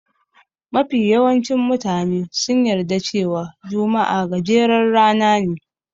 Mafi yawancin mutane sun yarda cewa juma'a gajeren rana ne.